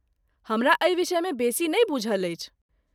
हमरा एहि विषयमे बेसी नहि बूझल अछि।